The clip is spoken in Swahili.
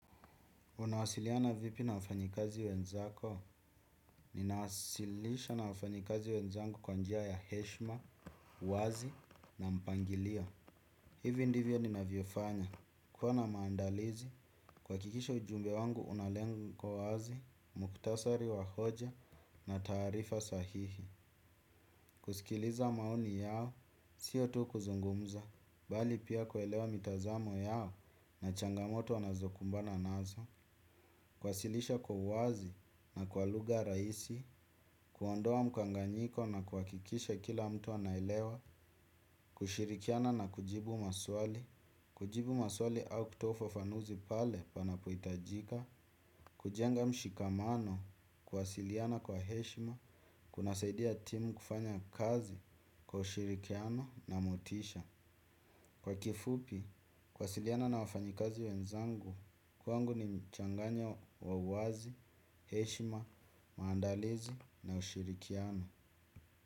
Unawasiliana vipi na wafanyikazi wenzako, ninawasilisha na wafanyikazi wenzangu kwa njia ya heshima, uwazi na mpangilio. Hivi ndivyo ninavyofanya. Kuwa na maandalizi, kuhakikisha ujumbe wangu una lengo wazi, mukhtasari wa hoja na taarifa sahihi. Kusikiliza maoni yao, siyo tu kuzungumza, bali pia kuelewa mitazamo yao na changamoto wanazokumbana nazo. Kuwasilisha kwa uwazi na kwa lugha rahisi, kuondoa mkanganyiko na kuhakikisha kila mtu anaelewa, kushirikiana na kujibu maswali, kujibu maswali au kutoa ufafanuzi pale panapohitajika, kujenga mshikamano, kuwasiliana kwa heshima, kunasaidia timu kufanya kazi, kwa ushirikiano na motisha. Kwa kifupi, kuwasiliana na wafanyikazi wenzangu, kwangu ni mchanganyo wa uwazi, heshima, maandalizi na ushirikiano.